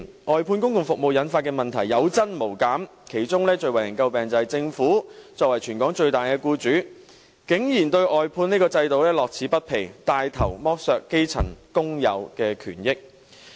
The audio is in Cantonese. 外判公共服務引發的問題有增無減，其中最為人詬病的是，政府作為全港最大僱主，竟然對外判制度樂此不疲，帶頭剝削基層工友的權益。